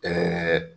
Ɛɛ